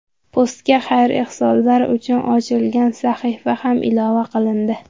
Postga xayr-ehsonlar uchun ochilgan sahifa ham ilova qilindi.